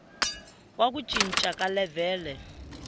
wa ku cinca ka levhele